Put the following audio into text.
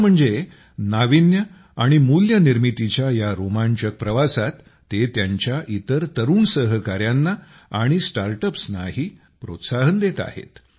दुसरं म्हणजे नाविन्य आणि मूल्यनिर्मितीच्या या रोमांचक प्रवासात ते त्यांच्या इतर तरुण सहकाऱ्यांना आणि स्टार्ट अप्सनाही प्रोत्साहन देत आहेत